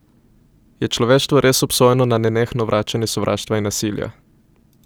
Je človeštvo res obsojeno na nenehno vračanje sovraštva in nasilja?